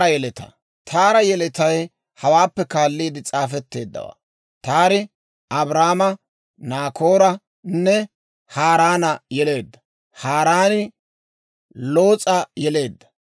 Taara yeletay hawaappe kaaliide s'aafetteeddawaa. Taari Abraama, Naakooranne Haaraana yeleedda; Haaraani Loos'a yeleedda.